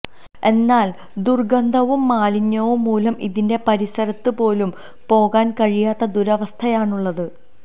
എന്നാല് ദുര്ഗന്ധവും മാലിന്യവും മൂലം ഇതിന്റെ പരിസരത്ത് പോലും പോകാന് കഴിയാത്ത ദുരവസ്ഥയാണുള്ളത്